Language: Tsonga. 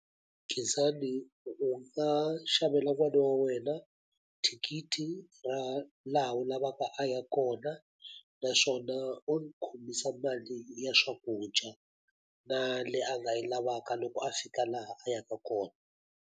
Khensani u nga xavela n'wana wa wena thikithi ra laha u lavaka a ya kona, naswona u n'wi khomisa mali ya swakudya na leyi a nga yi lavaka loko a fika laha a yaka kona.